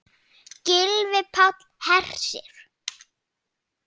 Gylfi Páll Hersir.